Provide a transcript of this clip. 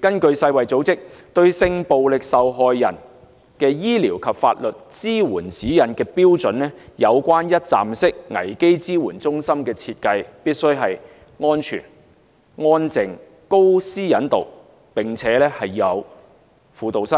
根據世界衞生組織《對性暴力受害人之醫療及法律支援指引》，有關一站式服務危機支援中心的設計，必須是安全、安靜、高私隱度，並且要設有輔導室、